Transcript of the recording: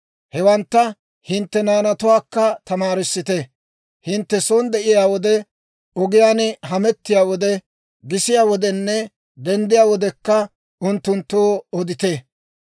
Hewantta hintte naanatuwaakka tamaarissite. Hintte son de'iyaa wode, ogiyaan hamettiyaa wode, gisiyaa wodenne denddiyaa wodekka, unttunttoo odite.